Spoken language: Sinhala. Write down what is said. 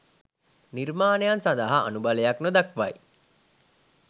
නිර්මාණයන් සඳහා අනුබලයක් නොදක්වයි